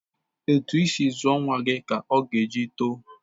Etu isi zụọ nwa gị ka o ji etọ.